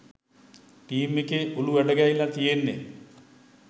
team එකේ ඔලු හැඩගැහිල තියෙන්නෙ